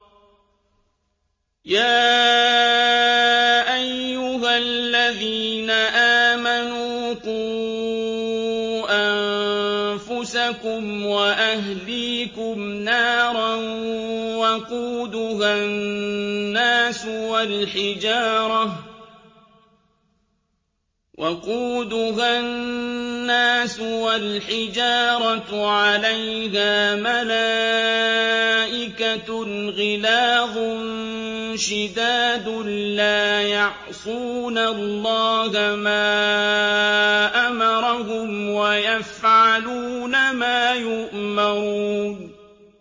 يَا أَيُّهَا الَّذِينَ آمَنُوا قُوا أَنفُسَكُمْ وَأَهْلِيكُمْ نَارًا وَقُودُهَا النَّاسُ وَالْحِجَارَةُ عَلَيْهَا مَلَائِكَةٌ غِلَاظٌ شِدَادٌ لَّا يَعْصُونَ اللَّهَ مَا أَمَرَهُمْ وَيَفْعَلُونَ مَا يُؤْمَرُونَ